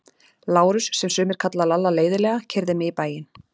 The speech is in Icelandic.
Lárus, sem sumir kalla Lalla leiðinlega, keyrði mig í bæinn.